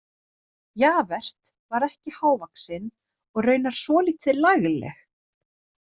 Javert var ekki hávaxin og raunar svolítið lagleg.